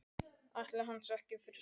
Ætli hann sé ekki fyrir sex?